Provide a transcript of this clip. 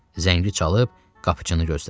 Zəngi çalıb qapıçını gözlədi.